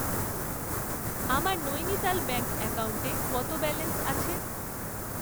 আমার নৈনিতাল ব্যাঙ্ক অ্যাকাউন্টে কত ব্যালেন্স আছে?